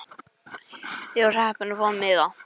Ég var heppin að fá miða.